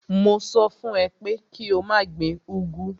Mo sọ fún ẹ pé kí o má gbin úgwú.